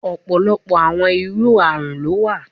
Ọpọlọpọ awọn iru arun lo wa